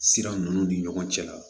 Sira ninnu ni ɲɔgɔn cɛ